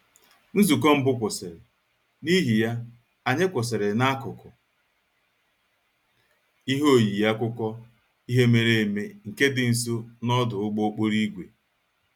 Nzukọ mbụ kwụsịrị, n'ihi ya, anyị kwụsịrị n'akụkụ ihe oyiyi akụkọ ihe mere eme nke dị nso n'ọdụ ụgbọ okporo ígwè